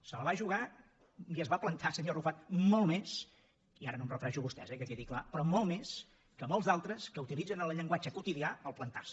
se la va jugar i es va plantar senyor arrufat molt més i ara no em refereixo a vostès eh que quedi clar però molt més que molts d’altres que utilitzen en el llenguatge quotidià plantar se